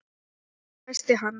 hvæsti hann.